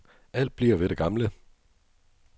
Alt bliver ved det gamle.